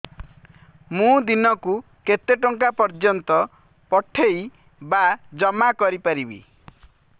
ମୁ ଦିନକୁ କେତେ ଟଙ୍କା ପର୍ଯ୍ୟନ୍ତ ପଠେଇ ବା ଜମା କରି ପାରିବି